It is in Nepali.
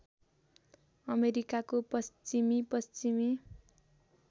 अमेरिकाको पश्चिमी पश्चिमी